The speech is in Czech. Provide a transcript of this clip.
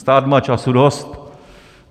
Stát má času dost.